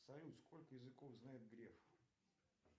салют сколько языков знает греф